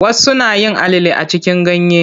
Wasu nayin alale a cikin ganye.